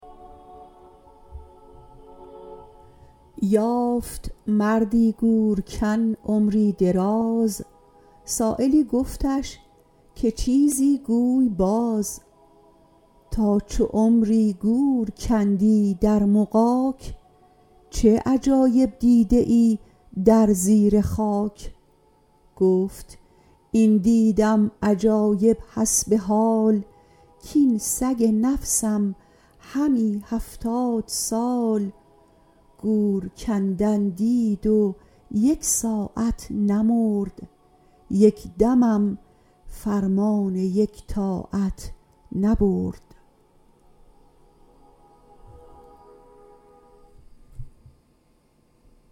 یافت مردی گورکن عمری دراز سایلی گفتش که چیزی گوی باز تا چو عمری گور کندی در مغاک چه عجایب دیده ای در زیر خاک گفت این دیدم عجایب حسب حال کین سگ نفسم همی هفتاد سال گور کندن دید و یک ساعت نمرد یک دمم فرمان یک طاعت نبرد